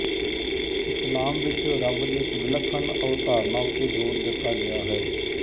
ਇਸਲਾਮ ਵਿੱਚ ਰੱਬ ਦੀ ਇੱਕ ਵਿਲੱਖਣ ਅਵਧਾਰਣਾ ਉੱਤੇ ਜੋਰ ਦਿੱਤਾ ਗਿਆ ਹੈ